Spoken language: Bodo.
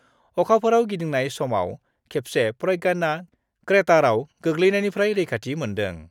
अखाफोराव गिदिंनाय समाव खेबसे प्रज्ञानआ क्रेटारआव गोग्लैनायनिफ्राय रैखाथि मोन्दों।